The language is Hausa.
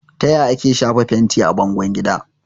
Taya ake shafa fenti a bangon gida?